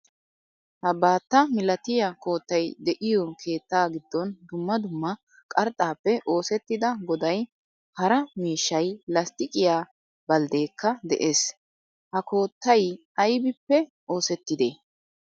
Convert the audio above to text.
Ha baatta milatiyaa koottaay de'iyo keettaa giddon dumma dumma qarxxaappe oosettida goday haraa miishshay lastiqiyaa balddekka de'ees. Ha koottay aybbippee oosettide?